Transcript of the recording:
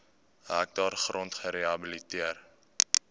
hektaar grond gerehabiliteer